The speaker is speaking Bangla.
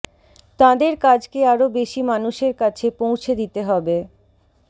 তাঁদের কাজকে আরও বেশি মানুষের কাছে পৌঁছে দিতে হবে